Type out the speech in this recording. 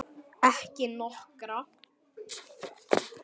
Ekki nokkra.